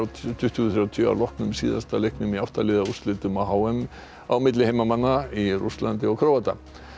tuttugu þrjátíu að loknum síðasta leiknum í átta liða úrslitum á h m á milli heimamanna í Rússlandi og Króata